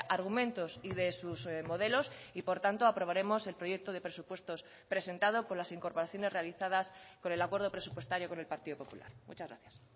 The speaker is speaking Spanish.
argumentos y de sus modelos y por tanto aprobaremos el proyecto de presupuestos presentado con las incorporaciones realizadas con el acuerdo presupuestario con el partido popular muchas gracias